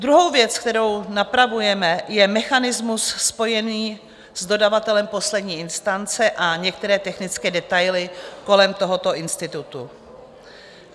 Druhou věc, kterou napravujeme, je mechanismus spojený s dodavatelem poslední instance a některé technické detaily kolem tohoto institutu.